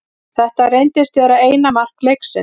Þetta reyndist vera eina mark leiksins.